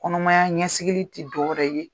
Kɔnɔmaya ɲɛsigili ti dƆ wɛrɛ ye